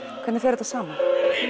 hvernig fer þetta saman